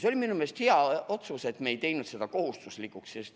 See oli minu meelest hea otsus, et me ei teinud seda kohustuslikuks.